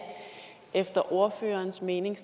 efter ordførerens mening